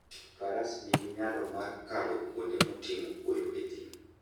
Faras nigi nyalo mar kalo kuonde motimo kwoyo e thim.